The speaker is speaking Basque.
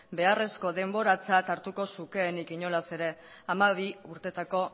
beharrezko denboratzat hartuko zukeenik inolaz ere hamabi urteetako